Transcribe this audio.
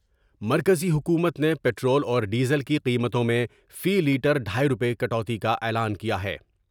مرکزی حکومت نے پٹرول اور ڈیزل کی قیمتوں میں فی لیٹر ڈھائی روپے کٹوتی کا اعلان کیا ہے ۔